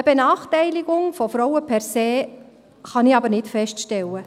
Eine Benachteiligung von Frauen per se kann ich aber nicht feststellen.